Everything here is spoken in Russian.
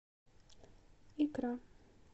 икра